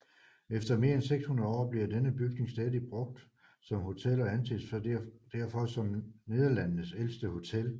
Efter mere end 600 år bliver denne bygning stadig brugt som hotel og anses derfor som Nederlandenes ældste hotel